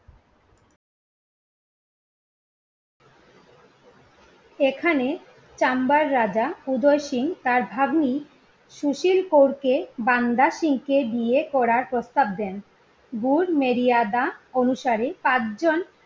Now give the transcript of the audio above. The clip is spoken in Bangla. এখানে চাম্বার রাজা উদয় সিং তার ভাগ্নি সুশীল কোরকে বান্দা সিংকে বিয়ে করার প্রস্তাব দেন। অনুসারে পাঁচজন